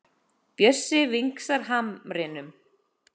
Bjössi vingsar hamrinum.